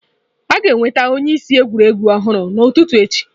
A ga-ewebata onyeisi egwuregwu ọhụrụ n'ụtụtụ echi.